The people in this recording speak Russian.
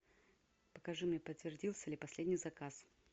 покажи мне подтвердился ли последний заказ